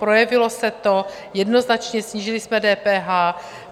Projevilo se to jednoznačně, snížili jsme DPH.